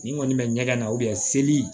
Nin kɔni bɛ ɲɛgɛn na seli